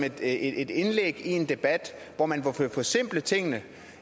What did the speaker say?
et indlæg i en debat hvor man vil forsimple tingene